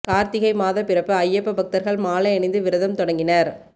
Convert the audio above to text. காா்த்திகை மாதப் பிறப்பு ஐயப்ப பக்தா்கள் மாலை அணிந்து விரதம் தொடங்கினா்